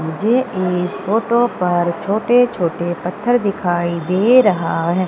मुझे इस फोटो पर छोटे छोटे पत्थर दिखाई दे रहा है।